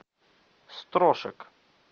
строшек